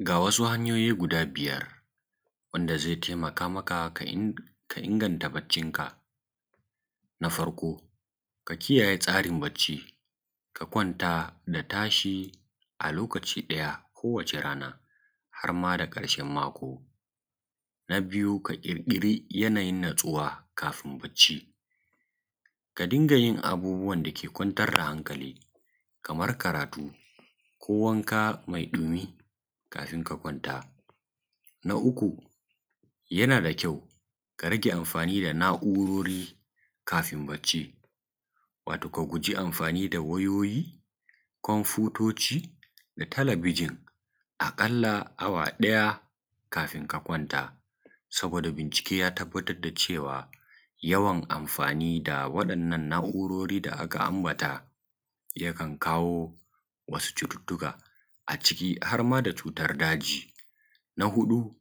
Ga wasu hanyoyi guda biyar ze taimakamaka ka inganta bacicinka. na farko, ka kiyaye tsarin bacicika: ka kwanta, ka tashi a lokaci ɗaya watana, harma da ƙarshen mako. na biyu, ka ƙirkiri lokacin natsuwa kafin bacci: ka dinga jin abubuwan dake kwantar da hankali, kamar karatu ko wanka me ɗumi kafin ka kwanta. na uku, yana da kyawu ka rige anfani da na’ururi kafin bacci, wato ka guje anfani da wayoyi konfutuci da talabiʤin a ƙalla awa ɗaya kan ka kwanta, saboda bincike ya tabbatar da cewa jin anfani da waɗannan na’ururi da aka ambata yana iya haddasa matsala ga bacici. na huɗu,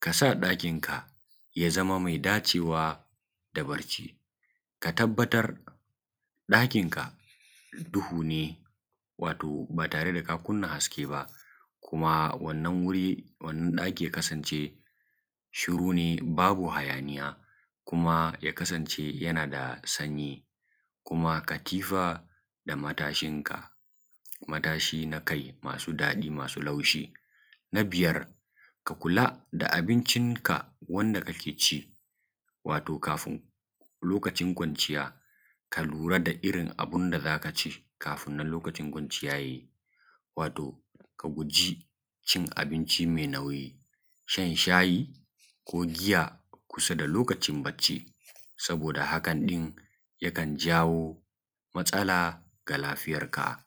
ka sa ɗakinka ya zamo me dacewa da bacici: ka tabbatar ɗakinka me duhu ne, wato batare da ka kunna haske ba, kuma wannan guri, wannan ɗaki ya kasance shuru ne, babu hajanija, kuma ya kasance yana da sanji, kuma katifa da matashinka na kai, wato masu daɗi, masu sauƙi. na biyar, ka kula da abincinka wanda kake ci, wato kafin lokacin kwanciya, ka lura da irin abinda zaka ci kafin nan lokacin bacici: jaji, wato ka guje cin abinci me nauji, shan shayi ko giya kusa da lokacin bacici, saboda haka ne jakan jawo matsala ga lafiyanka.